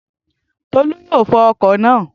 Tolú yóò fọ ọkọ̀ náà